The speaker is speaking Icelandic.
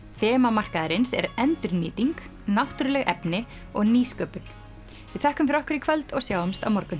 þema markaðarins er endurnýting náttúruleg efni og nýsköpun við þökkum fyrir okkur í kvöld og sjáumst á morgun